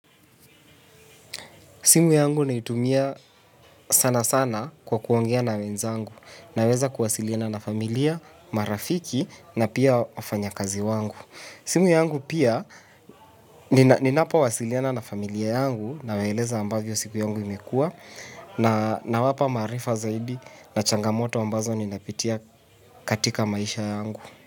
Simu yangu naitumia sana sana kwa kuongea na wenzangu naweza kuwasiliana na familia, marafiki na pia wafanya kazi wangu. Simu yangu pia ninapo wasiliana na familia yangu na waeleza ambavyo siku yangu imekua nawapa maarifa zaidi na changamoto ambazo ninapitia katika maisha yangu.